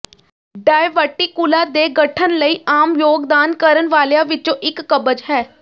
diverticula ਦੇ ਗਠਨ ਲਈ ਆਮ ਯੋਗਦਾਨ ਕਰਨ ਵਾਲਿਆਂ ਵਿਚੋਂ ਇਕ ਕਬਜ਼ ਹੈ